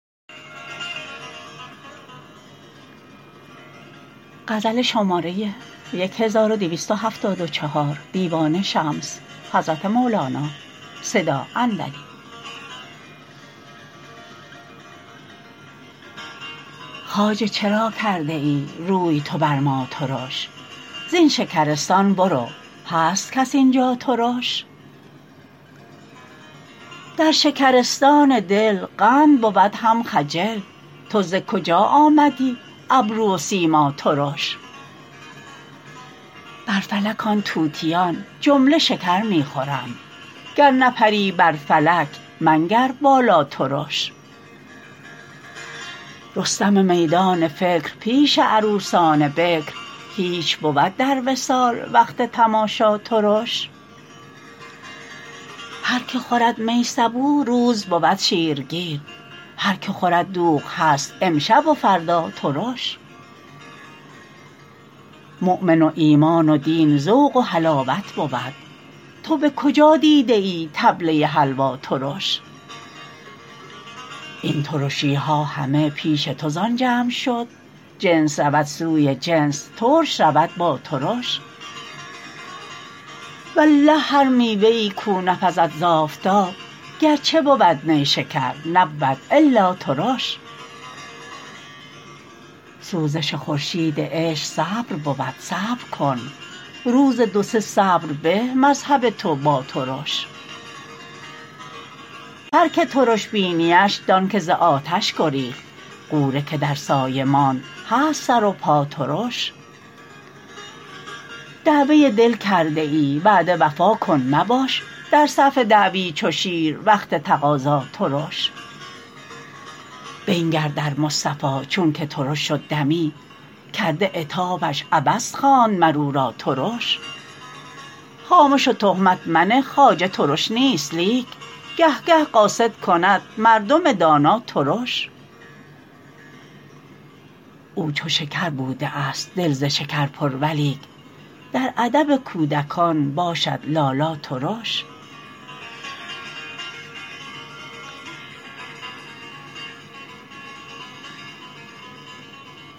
خواجه چرا کرده ای روی تو بر ما ترش زین شکرستان برو هست کس این جا ترش در شکرستان دل قند بود هم خجل تو ز کجا آمدی ابرو و سیما ترش بر فلک آن طوطیان جمله شکر می خورند گر نپری بر فلک منگر بالا ترش رستم میدان فکر پیش عروسان بکر هیچ بود در وصال وقت تماشا ترش هر کی خورد می صبوح روز بود شیرگیر هر کی خورد دوغ هست امشب و فردا ترش مؤمن و ایمان و دین ذوق و حلاوت بود تو به کجا دیده ای طبله حلوا ترش این ترشی ها همه پیش تو زان جمع شد جنس رود سوی جنس ترش رود با ترش والله هر میوه ای کاو نپزد ز آفتاب گرچه بود نیشکر نبود الا ترش سوزش خورشید عشق صبر بود صبر کن روز دو سه صبر به مذهب تو با ترش هر کی ترش بینی اش دانک ز آتش گریخت غوره که در سایه ماند هست سر و پا ترش دعوه دل کرده ای وعده وفا کن مباش در صف دعوی چو شیر وقت تقاضا ترش بنگر در مصطفی چونک ترش شد دمی کرده عتابش عبس خواند مر او را ترش خامش و تهمت منه خواجه ترش نیست لیک گه گه قاصد کند مردم دانا ترش او چو شکر بوده است دل ز شکر پر ولیک در ادب کودکان باشد لالا ترش